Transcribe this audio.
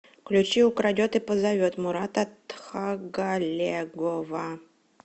включи украдет и позовет мурата тхагалегова